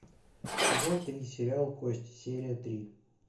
сезон три сериал кости серия три